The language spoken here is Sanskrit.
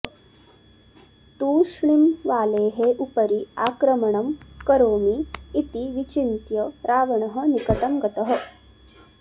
तूष्णीं वालेः उपरि आक्रमणं करोमि इति विचिन्त्य रावणः निकटं गतः